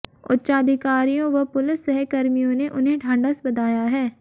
उच्चाधिकारियों व पुलिस सहकर्मियों ने उन्हें ढाढ़स बंधाया है